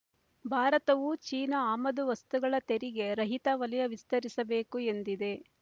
ಭಾರತವೂ ಚೀನಾ ಆಮದು ವಸ್ತುಗಳ ತೆರಿಗೆ ರಹಿತವಲಯ ವಿಸ್ತರಿಸಬೇಕು ಎಂದಿದೆ